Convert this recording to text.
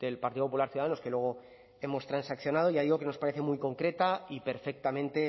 del partido popular ciudadanos que luego hemos transaccionado ya digo que nos parece muy concreta y perfectamente